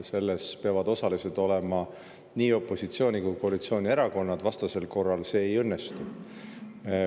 Selles peavad osalised olema nii opositsiooni‑ kui ka koalitsioonierakonnad, vastasel korral see ei õnnestu.